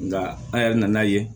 Nga an yɛrɛ nana ye